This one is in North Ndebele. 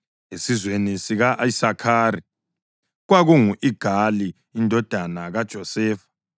esizweni sika-Isakhari, kwakungu-Igali indodana kaJosefa;